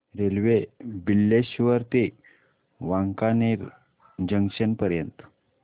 railway Bileshwar ते Wankaner junction पर्यंत